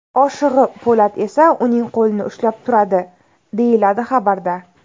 Oshig‘i Po‘lat esa uning qo‘lini ushlab turadi”, deyiladi xabarda.